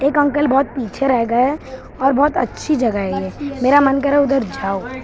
एक अंकल बहुत पीछे रहे गए और बहुत अच्छी जगह है ये मेरा मन कर रहा है उधर जाओ--